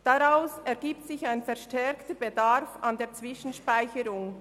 Daraus ergibt sich ein verstärkter Bedarf an Zwischenspeicherung.